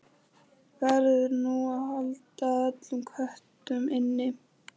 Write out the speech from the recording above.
Verður nú að halda öllum köttum inni?